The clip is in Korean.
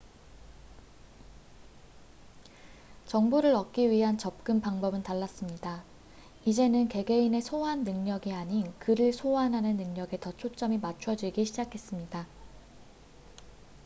정보를 얻기 위한 접근 방법은 달랐습니다 이제는 개개인의 소환 능력이 아닌 글을 소환하는 능력에 더 초점이 맞춰지기 시작했습니다